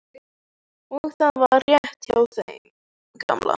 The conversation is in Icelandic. Og það var rétt hjá þeim gamla.